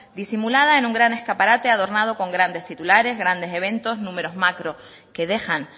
disimulada en un gran escaparate adornado con grandes titulares grandes eventos números macro que dejan